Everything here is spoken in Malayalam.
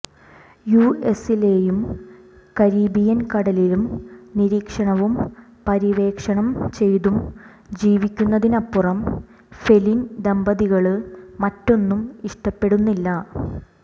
യുഎസിലെയും കരീബിയൻ കടലിലും നിരീക്ഷണവും പര്യവേക്ഷണം ചെയ്യ്തും ജീവിക്കുന്നതിനപ്പുറം ഫെലിൻ ദമ്പതികള് മറ്റൊന്നും ഇഷ്ടപ്പെടുന്നില്ല